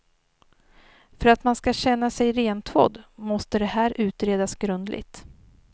För att man ska känna sig rentvådd måste det här utredas grundligt.